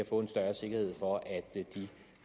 få en større sikkerhed for